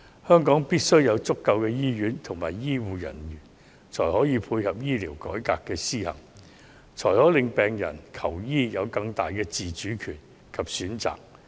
香港必須有足夠的醫院和醫護人員，才可配合醫療改革的施行，令病人求醫時有更大的自主權及更多選擇。